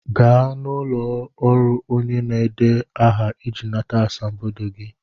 Gaa n'ụlọ ọrụ onye na-edeba aha iji nata asambodo gị!